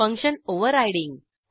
function overriding